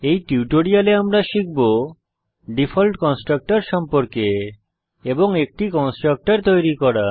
এই টিউটোরিয়ালে আমরা শিখব ডিফল্ট কনস্ট্রাক্টর সম্পর্কে এবং একটি কনস্ট্রাক্টর তৈরী করা